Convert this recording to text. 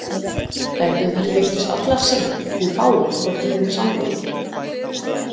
Dæturnar giftust allar seint því fáir þóttu þeim samboðnir.